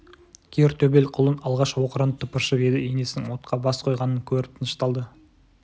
кер төбел құлын алғаш оқыранып тыпыршып еді енесінің отқа бас қойғанын көріп тынышталды